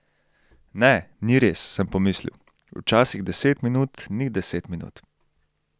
Ne, ni res, sem pomislil, včasih deset minut ni deset minut.